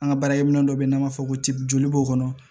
An ka baarakɛminɛ dɔ bɛ yen n'an b'a fɔ ko ce joli b'o kɔnɔ